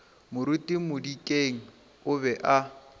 moruti modikeng o be a